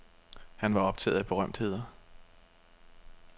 Han var optaget af berømtheder.